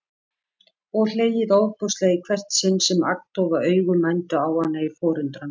Og hlegið ofboðslega í hvert sinn sem agndofa augu mændu á hana í forundran.